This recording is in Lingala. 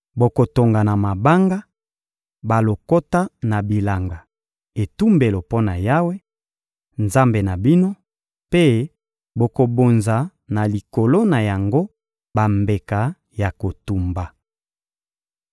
Bokotonga na mabanga balokota na bilanga etumbelo mpo na Yawe, Nzambe na bino, mpe bokobonza na likolo na yango bambeka ya kotumba.